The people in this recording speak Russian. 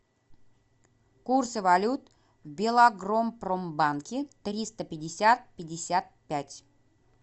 курсы валют в белагропромбанке триста пятьдесят пятьдесят пять